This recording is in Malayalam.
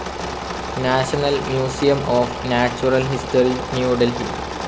national Museum of Natural History, New Delhi